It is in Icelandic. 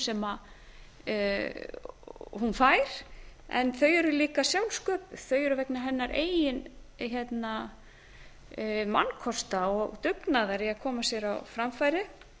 sem hún fær en þau eru líka sjálfsköpuð þau eru vegna hennar eigin mannkosta og dugnaðar í að koma sér á framfæri